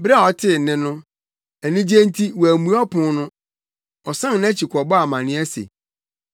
Bere a ɔtee nne no, anigye nti wammue ɔpon no. Ɔsan nʼakyi kɔbɔɔ amanneɛ se,